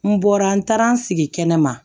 N bɔra n taara n sigi kɛnɛma